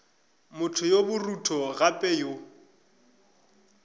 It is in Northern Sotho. motho yo borutho gape yo